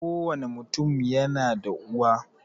Kowani mutum yana da uwa